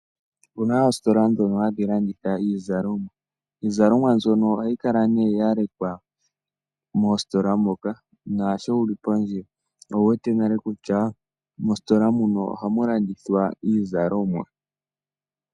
Opuna oositola dhoka hadhilanditha iizalomwa, iizalomwa mbyono ohayi kala ne yalekwa mositola moka nasho wuli pondje owuwete nale kutya mositola muno ohamulandithwa iizalomwa.